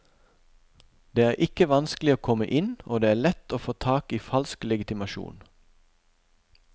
Det er ikke vanskelig å komme inn og det er lett å få tak i falsk legitimasjon.